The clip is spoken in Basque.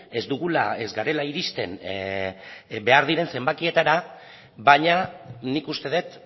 ez dugula ez garela iristen behar diren zenbakietara baina nik uste dut